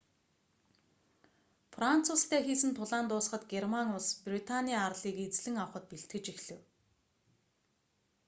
франц улстай хийсэн тулаан дуусахад герман улс британий арлыг эзлэн авахад бэлтгэж эхлэв